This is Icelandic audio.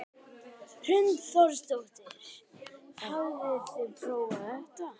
Hrund Þórsdóttir: Hafið þið prófað þetta?